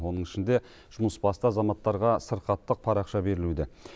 оның ішінде жұмысбасты азаматтарға сырқаттық парақша берілуде